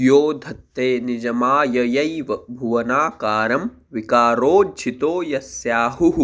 यो धत्ते निजमाययैव भुवनाकारं विकारोज्झितो यस्याहुः